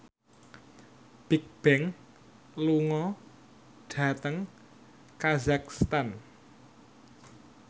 Bigbang lunga dhateng kazakhstan